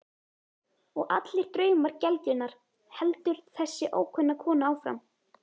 Og allir draumar gelgjunnar, heldur þessi ókunna kona áfram.